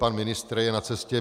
Pan ministr je na cestě.